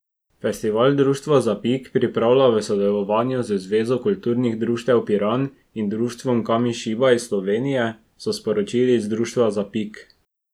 Festival Društvo Zapik pripravlja v sodelovanju z Zvezo Kulturnih Društev Piran in Društvom Kamišibaj Slovenije, so sporočili iz Društva Zapik.